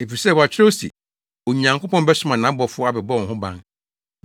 Efisɛ wɔakyerɛw se, “ ‘Onyankopɔn bɛsoma nʼabɔfo abɛbɔ wo ho ban;